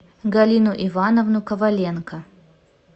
галину ивановну коваленко